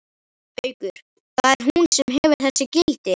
Haukur: Það er hún sem gefur þessu gildi?